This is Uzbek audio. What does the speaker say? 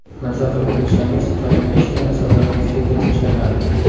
Maza qilib kulsangiz, taranglashgan asablaringiz tezda tinchlanadi.